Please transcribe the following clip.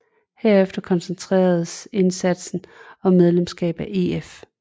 Herefter koncentreredes indsatsen om medlemskab af EF